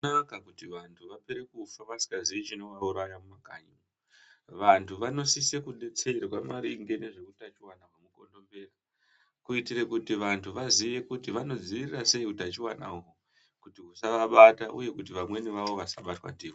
Azvina kunaka kuti vantu vapere kufa vasingaziyi chinovauraya mumakanyi. Vantu vanosise kudetserwa maringe neutachuwana hwemukondombera kuti vantu vaziye kuti vanodzivirira sei utachiwana uhwu kuti husavabata uye kuti vamweni vavo vasabatwa ndiwo.